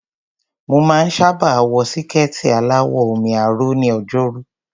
Mo máa ń sábà wọ síkẹ̀ẹ̀tì aláwọ̀ omi-aró ní Ọjọ́rú.